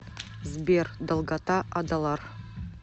сбер долгота адалар